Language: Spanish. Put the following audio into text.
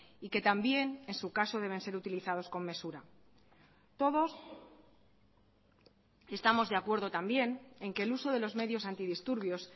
y que también en su caso deben ser utilizados con mesura todos estamos de acuerdo también en que el uso de los medios antidisturbios